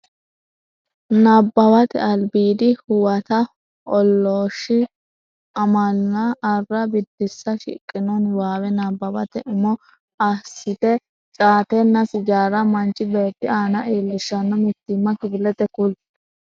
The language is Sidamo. Nabbawate Albiidi Huwato OOlIIShShO AMAlA ArrA Biddissa Shiqqino niwaawe nabbawate umo assite caatenna sijaaru manchi beetti aana iillishshanno mitiimma kifilete kuli.